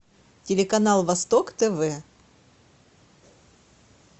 телеканал восток тв